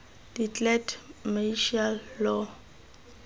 declared martial law